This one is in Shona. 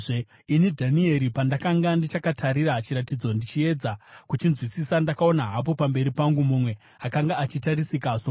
Ini, Dhanieri, pandakanga ndichakatarira chiratidzo ndichiedza kuchinzwisisa, ndakaona hapo pamberi pangu mumwe akanga achiratidzika somunhu.